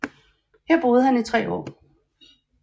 Her boede han i tre år